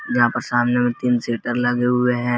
यहां पर सामने में तीन शटर लगे हुए हैं।